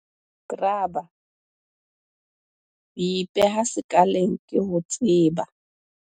Grabber- Ho ipeha sekaleng ke ho tseba.